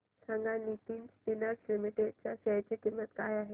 सांगा Nitin spinners limited च्या share ची किंमत काय आहे